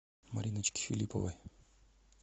мариночке филипповой